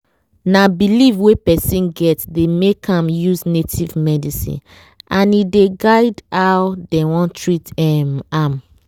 na belief wey person get dey make am use native medicine and e dey guide how dey wan treat em am.